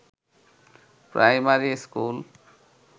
primary school